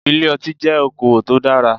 Ilé ọtí jẹ́ okowò tó dára.